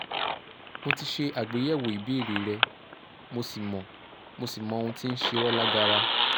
mo ti ṣe àgbéyẹ̀wò ìbéèrè rẹ mo sì mọ mo sì mọ ohun tí ń ṣe ọ́ lágara